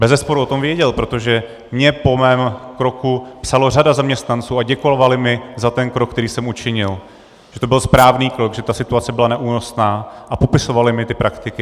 Bezesporu o tom věděl, protože mně po mém kroku psala řada zaměstnanců a děkovali mi za ten krok, který jsem učinil, že to byl správný krok, že ta situace byla neúnosná, a popisovali mi ty praktiky.